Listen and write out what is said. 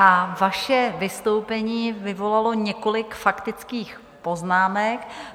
A vaše vystoupení vyvolalo několik faktických poznámek.